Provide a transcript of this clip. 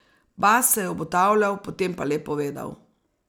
Bast se je obotavljal, potem pa le povedal.